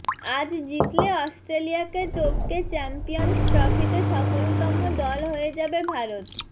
আজ জিতলে অস্ট্রেলিয়াকে টপকে চ্যাম্পিয়ন্স ট্রফিতে সফলতম দল হয়ে যাবে ভারত